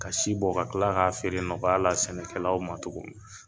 Ka si bɔ ka tila k'a feere nɔgɔya la sɛnɛkɛlaw ma tuguni.